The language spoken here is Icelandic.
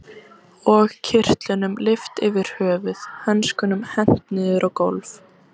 Og kyrtlunum lyft yfir höfuð, hönskunum hent niður á gólf.